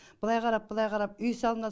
былай қарап былай қарап үй салынады